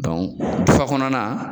Dɔn fa kɔnɔna na